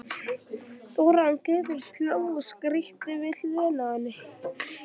Þórarinn Guðbjörnsson hló og skríkti við hliðina á henni.